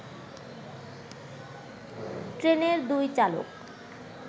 ট্রেনের দুই চালক